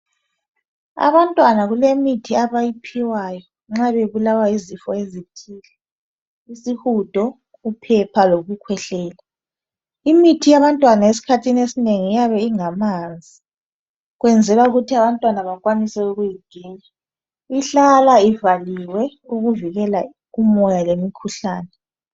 Abantwana kulemithi abayiphiwayo nxa bebulawa yizifo ezithile isihudo, uphepha lokukhwehlela imithi yabantwana esikhathini esinengi iyabe ingamanzi kwenzela ukuthi abantwana bakwanise ukuyiginya, ihlala ivaliwe ukuvikela imoya lemikhuhlane.